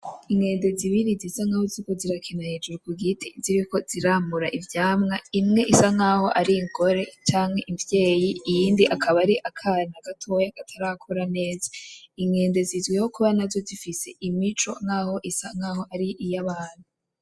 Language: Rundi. Inkende zibiri zisa nkaho ziriko zirakina hejuru ku giti, ziriko ziramura ivyamwa bisa nkaho ari ingore canke imvyeyi iyindi akaba ari akana gatoyi katarakura neza. Inkende zizwiho kiba nazo zifise imico nkaho isa nkaho ari iy’abantu.